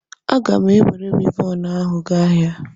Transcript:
A gam enwere Wivọnụ ahu gaa ahia